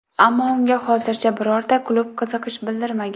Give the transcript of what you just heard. Ammo unga hozircha birorta klub qiziqish bildirmagan.